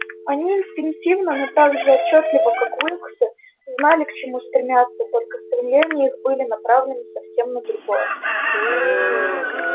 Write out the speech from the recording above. они инстинктивно но так же отчётливо как уилксы знали к чему стремятся только стремления их были направлены совсем на другое